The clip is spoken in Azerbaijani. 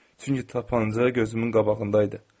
Çünki tapanca gözümün qabağındaydı.